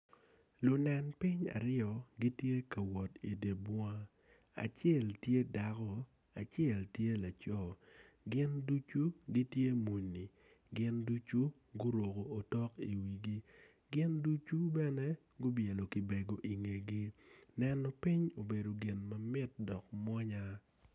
Lunen piny aryo gitye ka wot idi bunga acel tye dako acel tye laco gin ducu gitye muni gin ducu guruko otok iwigigin ducu bene gubyelo kibego ingegi neno piny obedo gin mamit dok mwonya.